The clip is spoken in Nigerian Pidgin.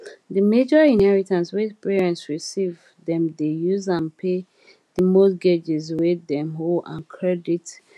the major inheritance wey parents receive dem dey use am pay the mortgages wey dem owe and credit card debts